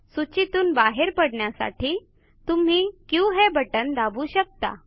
सूचीतून बाहेर पडण्यासाठी तुम्ही क्यू हे बटण दाबू शकता